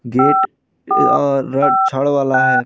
Gate अअर छड़ वाला है।